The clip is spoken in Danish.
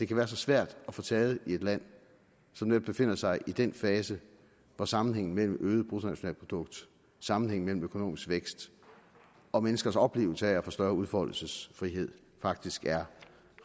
kan være så svær at få taget i et land som netop befinder sig i den fase hvor sammenhængen mellem øget bruttonationalprodukt sammenhængen mellem økonomisk vækst og menneskers oplevelse af at få større udfoldelsesfrihed faktisk er